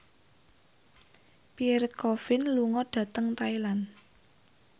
Pierre Coffin lunga dhateng Thailand